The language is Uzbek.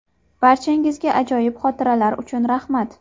Barchangizga ajoyib xotiralar uchun rahmat.